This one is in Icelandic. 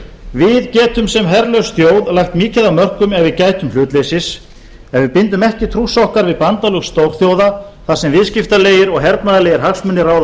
við getum sem herlaus þjóð lagt mikið af mörkum ef við gætum hlutleysis en við bindum ekki trúss okkar við bandalag stórþjóða þar sem viðskiptalegir og hernaðarlegir hagsmunir ráða för